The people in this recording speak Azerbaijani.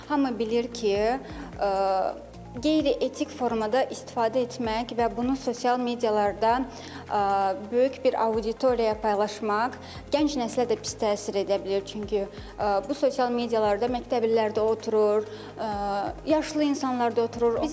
Hamı bilir ki, qeyri-etik formada istifadə etmək və bunu sosial mediada böyük bir auditoriyaya yaymaq gənc nəslə də pis təsir edə bilər, çünki bu sosial mediada məktəblilər də oturur, yaşlı insanlar da oturur.